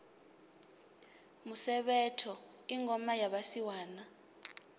musevhetho i ngoma ya vhasiwana